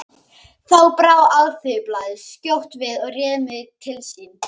Þá brá Alþýðublaðið skjótt við og réð mig til sín.